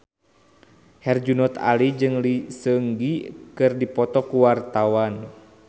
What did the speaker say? Herjunot Ali jeung Lee Seung Gi keur dipoto ku wartawan